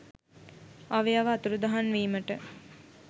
අවයව අතුරුදහන් වීමට